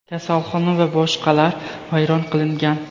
kasalxona va boshqalar vayron qilingan.